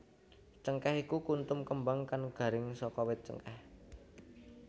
Cengkèh iku kuntum kembang kang garing saka wit cengkèh